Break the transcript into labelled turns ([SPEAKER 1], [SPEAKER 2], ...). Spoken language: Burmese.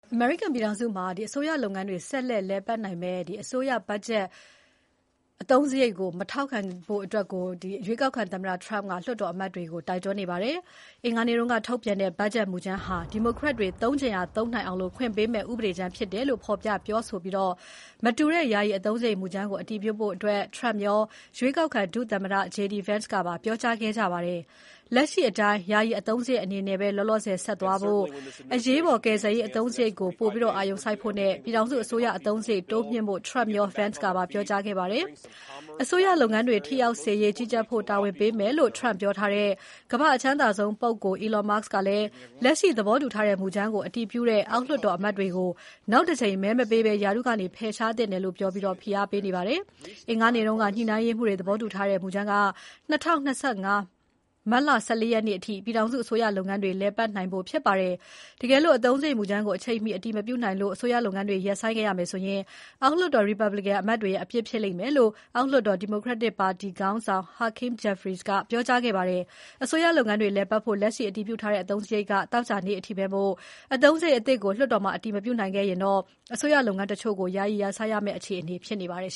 [SPEAKER 1] အမေရိကန်ပြည်ထောင်စုမှာ အစိုးရလုပ်ငန်းတွေ ဆက်လက်လည်ပတ်နိုင်ရေး ဘတ်ဂျက်အသုံးစရိတ် မူကြမ်းကို ကန့်ကွက်ဖို့ ရွေးကောက်ခံသမ္မတ Donald Trump က ဗုဒ္ဓဟူးနေ့က လွှတ်တော်အမတ်တွေကို တောင်းဆိုခဲ့ပါတယ်။ အင်္ဂါနေ့ကထုတ်ပြန်တဲ့ ဘတ်ဂျက်မူကြမ်းဟာ ဒီမိုကရက်တွေ သုံးချင်ရာသုံးနိုင်အောင်ခွင့်ပေးမယ့် ဥပဒေကြမ်းဖြစ်တယ်လို့ဖော်ပြပြောဆိုပြီး မတူတဲ့ယာယီအသုံးစရိတ်မူကြမ်းကိုအတည်ပြုဖို့ Trump ရော ရွေးကောက်ခံ ဒုသမ္မတ JD Vance ကပါ ပြောကြားခဲ့ကြပါတယ်။ လက်ရှိအတိုင်း ယာယီအသုံး စရိတ်အနေနဲ့ပဲ ဆက်သွားဖို့၊ အရေးပေါ်ကယ်ဆယ်ရေးအသုံးစရိတ်ကို ပိုအာရုံစိုက်ဖို့နဲ့ ပြည်ထောင်စု အစိုးရအသုံးစရိတ်တိုးမြှင့်ဖို့ Trump ရော Vance ကပါ ပြောခဲ့ကြပါတယ်။ အစိုးရလုပ်ငန်းတွေထိရောက်စေရေးကြီးကြပ်ဖို့ တာဝန်ပေးမယ်လို့ Trump ပြောထားတဲ့ ကမ္ဘာ့ အချမ်းသာဆုံးပုဂ္ဂိုလ်Elon Musk ကလည်း လက်ရှိသဘောတူထားတဲ့မူကြမ်းကို အတည်ပြုတဲ့ အောက်လွှတ်တော်အမတ်တွေကို နောက်တကြိမ်မဲမပေးဘဲ ရာထူးကနေဖယ်ရှားသင့်တယ်လို့ ပြောပြီး ဖိအားပေးနေပါတယ်။ အင်္ဂါနေ့က ညှိနှိုင်းရေးမှူးတွေသဘောတူထားတဲ့ မူကြမ်းက ၂၀၂၅ မတ်လ ၁၄ ရက်နေ့အထိ ပြည်ထောင်စုအစိုးရလုပ်ငန်းတွေ လည်ပတ်နိုင်ဖို့ဖြစ်ပါတယ်။ တကယ်လို့ အသုံးစရိတ် မူကြမ်းကို အချိန်မီအတည်မပြုနိုင်လို့ အစိုးရလုပ်ငန်းတွေ ရပ်ဆိုင်းထားခဲ့ရမယ်ဆိုရင် အောက်လွှတ်တော် Republican အမတ်တွေရဲ့ အပြစ်ဖြစ်လိမ့်မယ်လို့ အောက်လွှတ်တော် Democratic ပါတီခေါင်းဆောင် Hakeem Jeffries ကပြောကြားထားပါတယ်။ အစိုးရလုပ်ငန်းတွေ လည်ပတ်ဖို့ လက်ရှိအတည်ပြုထားတဲ့ အသုံးစရိတ်က သောကြာနေ့အထိပဲမို့ အသုံးစရိတ်အသစ်ကို လွှတ်တော်မှာ အတည်မပြုနိုင်ရင် အစိုးရလုပ်ငန်းတချို့ကို ယာယီရပ်ဆိုင်းထားရမယ့် အခြေအနေဖြစ်နေပါတယ်